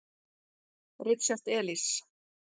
Richard Elis.